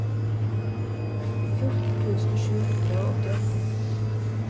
fjorten tusen sju hundre og åttiåtte